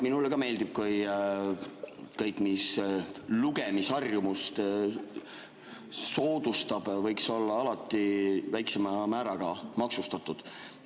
Minule ka meeldiks, kui kõik, mis lugemisharjumust soodustab, oleks alati väiksema määraga maksustatud.